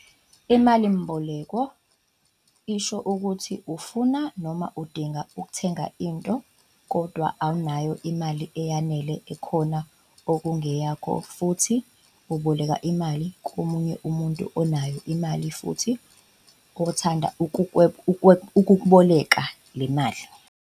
Imalimboleko isho ukuthi ufuna noma udinga ukuthenga into, kodwa awunayo imali eyanele ekhona okungeyakho futhi uboleka imali komunye umuntu onayo imali futhi oyathanda ukukweboleka le mali.